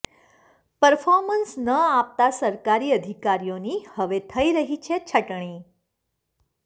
performance ન આપતા સરકારી અધિકારીઓની હવે થઈ રહી છે છટણી